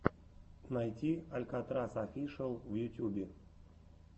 найти алькатрас офишиал в ютьюбе